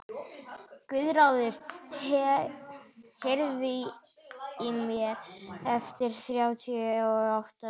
Guðráður, heyrðu í mér eftir þrjátíu og átta mínútur.